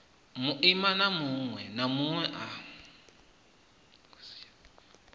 muimana munwe na munwe a